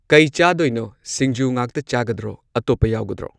ꯀꯩ ꯆꯥꯗꯣꯏꯅꯣ ꯁꯤꯡꯖꯨ ꯉꯥꯛꯇ ꯆꯥꯒꯗ꯭ꯔꯣ ꯑꯇꯣꯞꯄ ꯌꯥꯎꯒꯗ꯭ꯔꯣ꯫